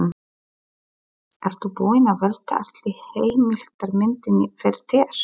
Ertu búinn að velta allri heildarmyndinni fyrir þér?